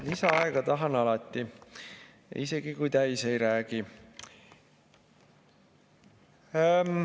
Lisaaega tahan alati, isegi kui seda täis ei räägi.